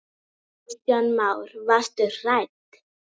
Kristján Már: Varstu hrædd?